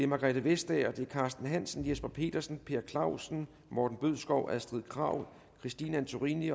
margrethe vestager carsten hansen jesper petersen per clausen morten bødskov astrid krag christine antorini